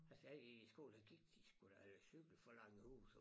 Altså da jeg gik i skole der gik de sgu da eller cyklede fra Langerhuse og